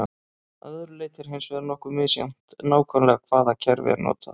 Að öðru leyti er hins vegar nokkuð misjafnt nákvæmlega hvaða kerfi er notað.